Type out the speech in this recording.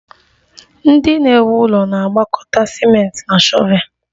Ndị na-ewu ụlọ na-agwakọta ciment na shọvel